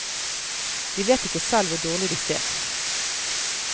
De vet ikke selv hvor dårlig de ser.